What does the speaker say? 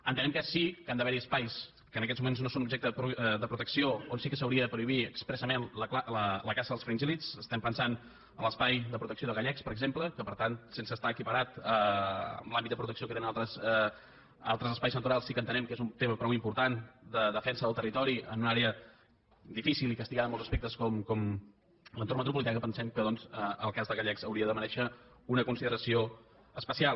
entenem que sí que han d’haver hi espais que en aquests moments no són objecte de protecció on sí que s’hauria de prohibir expressament la caça dels fringíl·lids estem pensant en l’espai de protecció de gallecs per exemple que per tant sense estar equiparat a l’àmbit de protecció que tenen altres espais naturals sí que entenem que és un tema prou important de defensa del territori en una àrea difícil i castigada en molts aspectes com l’entorn metropolità i pensem que doncs el cas de gallecs hauria de merèixer una consideració especial